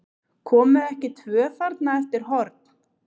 Komu ekki tvö þarna eftir horn?